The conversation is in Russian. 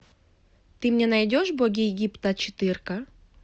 ты мне найдешь боги египта четырка